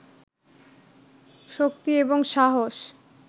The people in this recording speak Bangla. শক্তি এবং সাহস